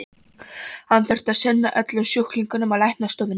Hann þurfti að sinna öllum sjúklingunum á læknastofunni.